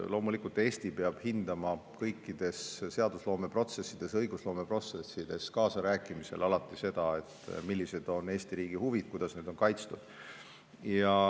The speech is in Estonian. Loomulikult, Eesti peab hindama kõikides seadusloome ja õigusloome protsessides kaasarääkimisel alati seda, millised on Eesti riigi huvid ja kuidas need on kaitstud.